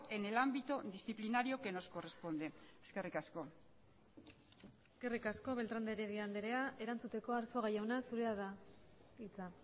en el ámbito disciplinario que nos corresponde eskerrik asko eskerrik asko beltrán de heredia andrea erantzuteko arzuaga jauna zurea da hitza